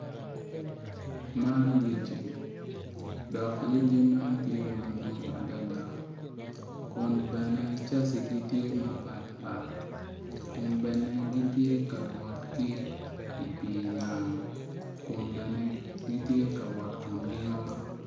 Man lyeci dok lyeci man tye madwong adada kun bene cacigi tye mapatpat kun bene gitye ka wot ki i pii nam kun bene gitye ka wot kun gingolo.